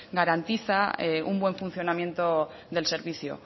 garantiza un buen funcionamiento del servicio